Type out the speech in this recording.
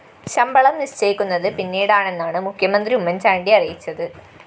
ശമ്പളം നിശ്ചയിക്കുന്നത് പിന്നീടാണെന്നാണ് മുഖ്യന്ത്രി ഉമ്മന്‍ചാണ്ടി അറിയിച്ചത്